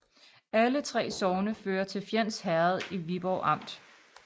Alle 3 sogne hørte til Fjends Herred i Viborg Amt